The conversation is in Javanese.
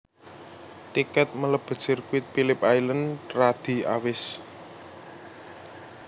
Tiket melebet sirkuit Philip Island radi awis